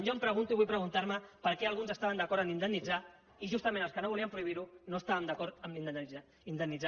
jo em pregunto i vull preguntar me per què alguns estaven d’acord en indemnitzar i justament els que no volien prohibir ho no estàvem d’acord en indemnitzar